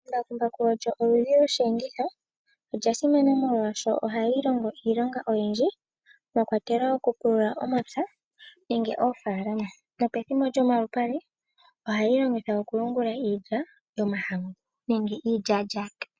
Embakumbaku olyo oludhi lwosheenditho. Olya simana molwaashono ohali longithwa iilonga oyindji mwakwatelwa okupulula omapya nenge oofaalama. Pethimbo lyomalupale ohali longithwa okuyungula iilya yomahangu nenge iilyalyaka.